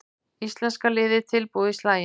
Íslenska liðið tilbúið í slaginn